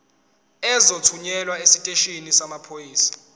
uzothunyelwa esiteshini samaphoyisa